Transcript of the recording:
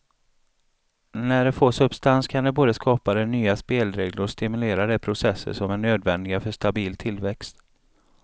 När det får substans kan det både skapa de nya spelregler och stimulera de processer som är nödvändiga för stabil tillväxt.